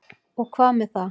Og hvað með það?